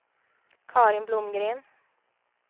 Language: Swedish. Carin Blomgren